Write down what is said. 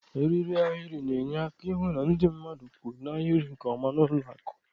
Eriri ahịrị na-enye aka ịhụ na ndị mmadụ kwụ n' ahịrị nke ọma n'ụlọakụ